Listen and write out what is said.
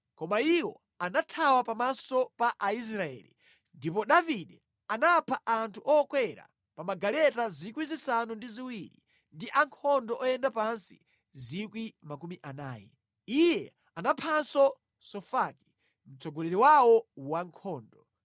Koma iwo anathawa pamaso pa Aisraeli, ndipo Davide anapha anthu okwera pa magaleta 7,000 ndi ankhondo oyenda pansi 40,000. Iye anaphanso Sofaki, mtsogoleri wawo wankhondo.